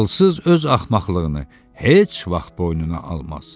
Ağılsız öz axmaqlığını heç vaxt boynuna almaz.